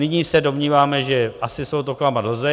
Nyní se domníváme, že asi soud oklamat lze.